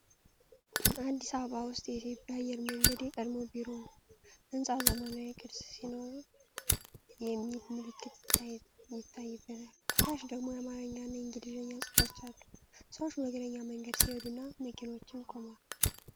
አዲስ አበባ ውስጥ የኢትዮጵያ አየር መንገድ የቀድሞ ቢሮ ነው። ሕንፃው ዘመናዊ ቅርፅ ሲኖረው የሚል ምልክት ይታይበታል። ከታች ደግሞ የአማርኛና የእንግሊዝኛ ጽሑፎች አሉ። ሰዎች በእግረኛ መንገድ ሲሄዱና መኪኖችም ቆመዋል።